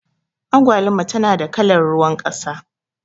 Agwaluma tana da kalar ruwan ƙasa.